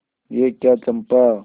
यह क्या चंपा